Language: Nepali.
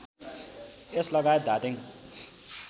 यस लगायत धादिङ